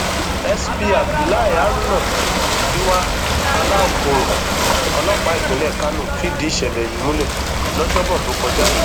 sp abdullahi haruna kiwa alaukoro ọlọpàá ìpínlẹ kánò fìdí ìṣẹlẹ yìí múlẹ lọjọbọ tó kọjá yìí